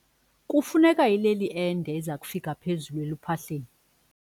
Kufuneka ileli ende eza kufika phezulu eluphahleni.